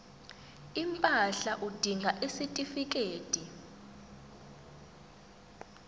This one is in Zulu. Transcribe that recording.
impahla udinga isitifikedi